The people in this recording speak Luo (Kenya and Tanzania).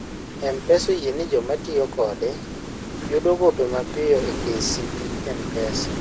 mpesa oyieni jomatiyo kode yudo gope mapiyo e kcb mpesa